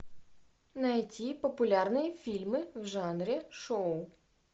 найти популярные фильмы в жанре шоу